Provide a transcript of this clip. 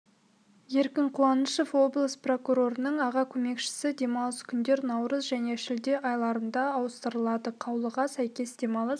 еркін қуанышев облыс прокурорының аға көмекшісі демалыс күндер наурыз және шілде айларында ауыстырылады қаулыға сәйкес демалыс